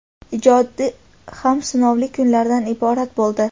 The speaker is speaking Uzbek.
ijodi ham sinovli kunlardan iborat bo‘ldi.